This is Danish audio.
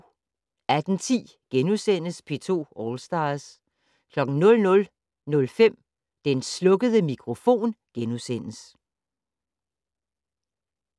18:10: P2 All Stars * 00:05: Den slukkede mikrofon *